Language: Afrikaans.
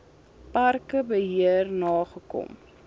parke beheer nagekom